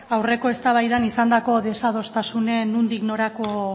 aurreko eztabaidan izandako desadostasunen nondik norako